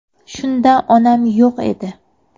Shunda onam yo‘q edi.